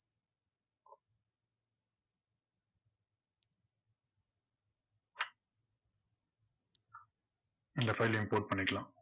இந்த file யும் import பண்ணிக்கலாம்.